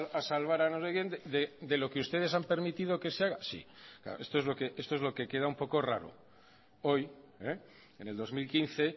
a salvar a no sé quien de lo que ustedes han permitido que se haga esto es lo que queda un poco raro hoy en el dos mil quince